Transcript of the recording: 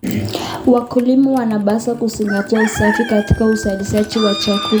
Wakulima wanapaswa kuzingatia usafi katika uzalishaji wa chakula.